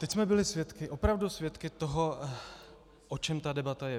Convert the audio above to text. Teď jsme byli svědky, opravdu svědky toho, o čem ta debata je.